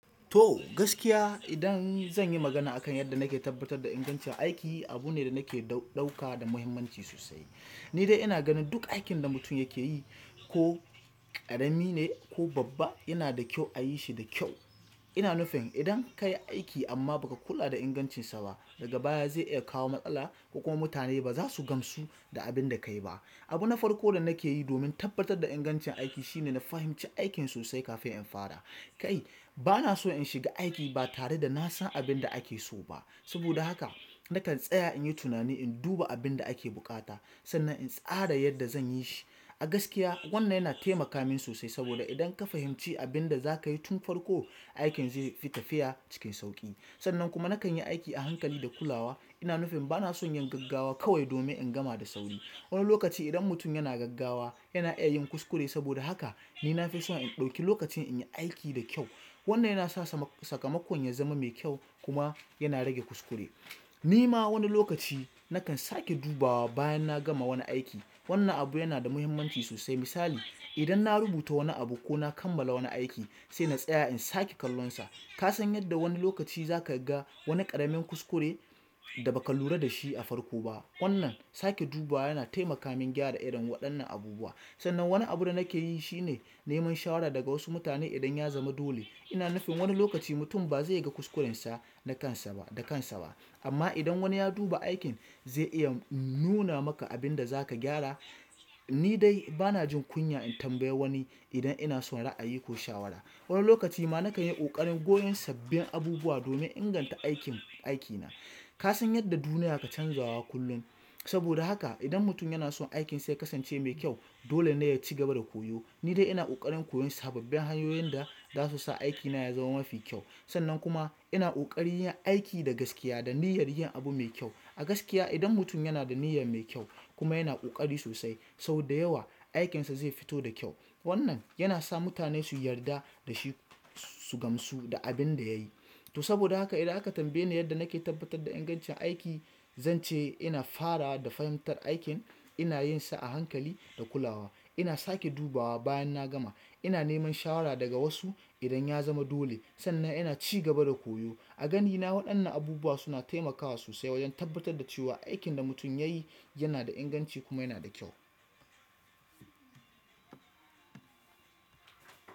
To gaskiya idan zan yi magana a kan yadda nake tabbatar da ingancin aiki, abu ne da nake ɗauka da muhimmanci sosai. Ni dai ina ganin duk aikin da mutum yake yi ko ƙarami ne ko babba yana da kyau a yi shi da kyau. Ina nufin idan ka yi aiki amma ba ka kula da ingancinsa ba daga baya zai iya kawo matsala ko kuma mutane ba za su gamsu da abin da ka yi ba. Abu na farko da nake yi domin tabbatar da ingancin aiki shine na fahimci aikin sosai kafin in fara. Kai bana so in shiga aiki ba tare da na san abin da ake so ba. Saboda haka nakan tsaya in yi tunani in duba abin da ake buƙata sannan in tsara yadda zan yi shi. A gaskiya wannan yana taimaka min sosai saboda idan ka fahimci abin da za ka yi tun farko, aikin zai fi tafiya cikin sauƙi. Sannan kuma nakan yi aiki a hankali da kulawa. Ina nufin bana son yin gaggawa kawai domin in gama da sauri. Wani lokaci idan mutum yana gaggawa yana iya yin kuskure saboda haka ni na fi so in ɗauki lokaci in yi aiki da kyau. Wannan yana sa sakamakon ya zama mai kyau kuma yana rage kuskure. Ni ma wani lokaci nakan sake dubawa bayan na gama wani aiki. Wannan abu yana da muhimmanci sosai. Misali idan na rubuta wani abu koba kammala wani aiki sena tsaya in sake kallon sa. Ka san yadda wani lokaci za ka ga wani ƙaramin kuskure da ba ka lura da shi a farko ba. Wannan sake dubawa yana taimaka min gyara irin waɗannan abubuwa. Sannan wani abu da nake yi shine neman shawara daga wasu mutane idan ya zama dole. Ina nufin wani lokaci mutum ba zai ga kuskurensa da kansa ba da kansa ba amma idan wani ya duba aikin zai iya nuna maka abin da za ka gyara. Ni dai bana jin kunya in tambaye wani idan ina so ra'ayi ko shawara. Wani lokaci ma na kan yi ƙoƙarin koyon sabbin abubuwa domin inganta aikin aikina. Ka san yadda duniya ka canzawa kullum saboda haka idan mutum yana son aikinsa ya kasance mai kyau dole ne ya ci gaba da koyo. Ni dai ina ƙoƙarin koyon sababbin hanyoyin da za su sa aikina ya zama mafi kyau. Sannan kuma ina ƙoƙari yin aiki da gaskiya da niyyar yin abu mai kyau. A gaskiya idan mutum yana da niyya mai kyau kuma yana ƙoƙari sosai sau da yawa aikinsa zai fito da kyau. Wannan yana sa mutane su yarda da shi su gamsu da abin da ya yi. To saboda haka idan aka tambaye ni yadda nake tabbatar da ingancin aiki, zan ce ina fara da fahimtar aikin, ina yin sa a hankali da kulawa, ina sake dubawa bayan na gama, ina neman shawara daga wasu idan ya zama dole sannan ina ci gaba da koyo. A ganina waɗannan abubuwa suna taimakawa sosai wajen tabbatar da cewa aikin da mutum ya yi yana da inganci kuma yana da kyau.